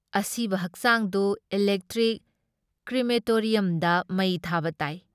ꯑꯁꯤꯕ ꯍꯛꯆꯥꯡꯗꯨ ꯏꯂꯦꯛꯇ꯭ꯔꯤꯛ ꯀ꯭ꯔꯤꯃꯦꯇꯣꯔꯤꯌꯝꯗ ꯃꯩ ꯊꯥꯕ ꯇꯥꯏ।